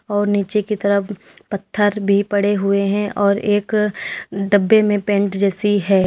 और नीचे की तरफ पत्थर भी पड़े हुए हैं और एक डब्बे में पेंट जैसी है।